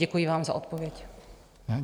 Děkuji vám za odpověď.